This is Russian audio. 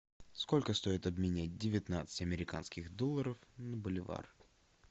сколько стоит обменять девятнадцать американских долларов на боливар